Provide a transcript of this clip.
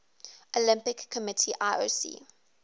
olympic committee ioc